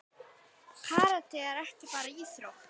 Karate er ekki bara íþrótt.